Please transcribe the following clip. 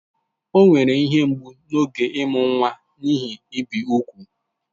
O nwere ihe mgbu n'oge ịmụ nwa n'ihi ibi úgwù